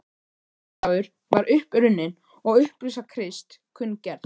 Páskadagur var upp runninn og upprisa Krists kunngerð.